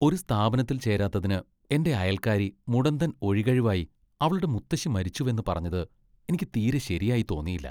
ഒരു സ്ഥാപനത്തിൽ ചേരാത്തതിന് എന്റെ അയൽക്കാരി മുടന്തൻ ഒഴികഴിവായി അവളുടെ മുത്തശ്ശി മരിച്ചുവെന്ന് പറഞ്ഞത് എനിക്ക് തീരെ ശെരിയായി തോന്നിയില്ല.